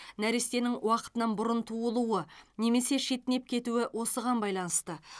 нәрестенің уақытынан бұрын туылуы немесе шетінеп кетуі осыған байланысты